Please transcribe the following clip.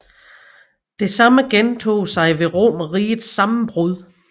Det samme gentog sig ved Romerrigets sammenbrud